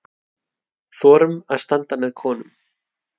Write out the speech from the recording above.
Þorum að standa með konum.